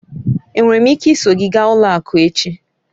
Enwere m ike iso gị gaa ụlọ akụ echi?